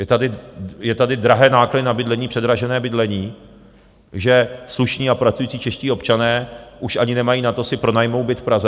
Jsou tady drahé náklady na bydlení, předražené bydlení, že slušní a pracující čeští občané už ani nemají na to si pronajmou byt v Praze.